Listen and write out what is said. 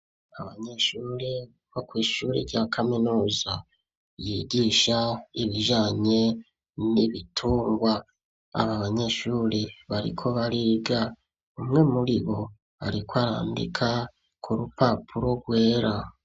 Abanyeshure bo kw'ishure rya kaminuza yigisha ibijanye n'ibitungwa. Aba banyeshure bariko bariga. Umwe muribo ariko arandika ku rupapuro rwera.